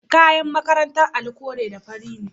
Kayan makarantar Ali kore da fari ne.